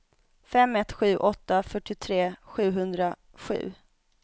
fem ett sju åtta fyrtiotre sjuhundrasju